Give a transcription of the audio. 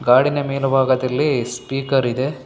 ಗಾಡಿನ ಮೇಲ ಭಾಗದಲ್ಲಿ ಸ್ಪೀಕರ್ ಇದೆ.